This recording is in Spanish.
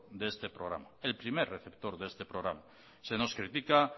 de este programa el primer receptor de este programa se nos critica